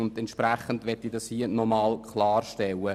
Deshalb möchte ich diesen klarstellen.